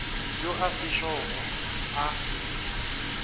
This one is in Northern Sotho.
yo a se šogo a